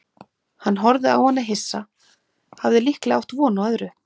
Hann horfði á hana hissa, hafði líklega átt von á öðru.